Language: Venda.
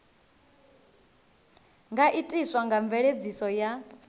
nga itiswa nga mveledziso ya